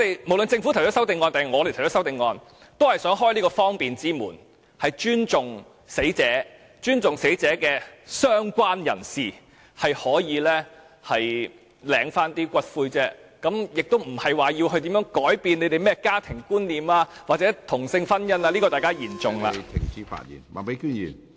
無論是政府或議員提出修正案，也是想開方便之門，尊重死者，亦尊重死者的相關人士，讓他們可以領回骨灰，而不是要改變大家對家庭或同性婚姻的觀念，這點大家言重了......